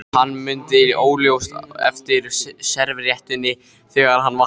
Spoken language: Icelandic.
Hann mundi óljóst eftir servíettunni þegar hann vaknaði.